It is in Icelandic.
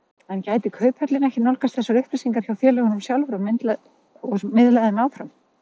En gæti Kauphöllin ekki nálgast þessar upplýsingar hjá félögunum sjálfum og miðlað þeim áfram?